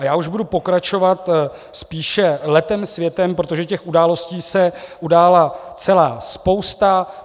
A já už budu pokračovat spíše letem světem, protože těch událostí se udála celá spousta.